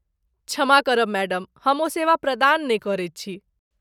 क्षमा करब मैडम हम ओ सेवा प्रदान नहि करैत छी।